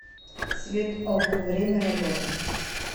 цветок время работы